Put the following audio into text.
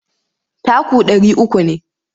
Taku ɗari uku ne.